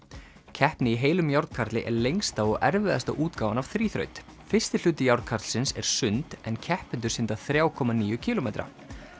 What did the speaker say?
keppni í heilum er lengsta og erfiðasta útgáfan af þríþraut fyrsti hluti er sund en keppendur synda þrjá komma níu kílómetra